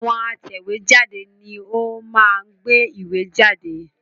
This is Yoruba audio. Àwọn atẹ̀wé jáde ni ó máa ń gbé ìwé jáde